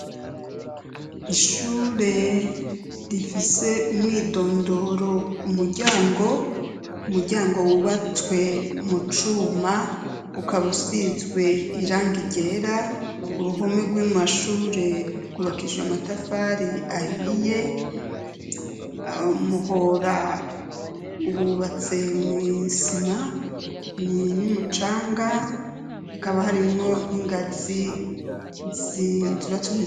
Ishure rifise umwidondoro ku muryango umuryango wubatswe mu cuma ukabusizwe iranga irera uruhome rw'amashure rwubakijwe matafari ahiye amuhoro ra uwubatse mwisima ni nimucanga hakaba harimwo n'ingazi zizbatume.